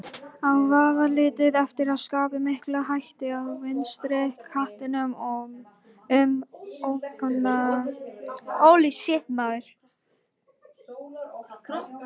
Á vafalítið eftir að skapa mikla hættu á vinstri kantinum um ókomna tíð.